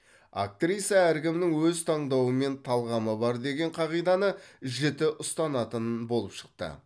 актриса әркімнің өз таңдауы мен талғамы бар деген қағиданы жіті ұстанатынын болып шықты